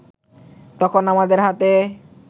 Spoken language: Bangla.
তখনো আমাদের হাতে